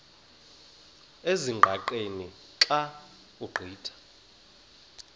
ezingqaqeni xa ugqitha